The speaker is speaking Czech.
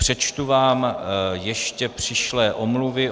Přečtu vám ještě přišlé omluvy.